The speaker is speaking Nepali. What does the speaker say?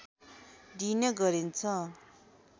दिइने गरिन्छ